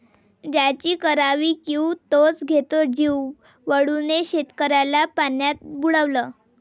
ज्याची करावी कीव तोच घेतो जीव, वळूने शेतकऱ्याला पाण्यात बुडवलं